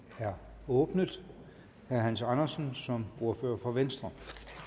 er åbnet herre hans andersen som ordfører for venstre